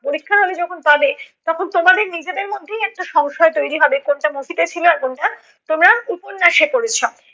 পরীক্ষার হলে যখন পাবে তখন তোমাদের নিজেদের মধ্যেই একটা সংশয় তৈরি হবে। কোনটা movie তে ছিলো আর কোনটা তোমরা উপন্যাসে পড়েছো।